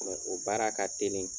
o baara ka telin